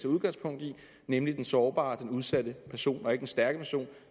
udgangspunkt i nemlig den sårbare den udsatte person og ikke den stærke person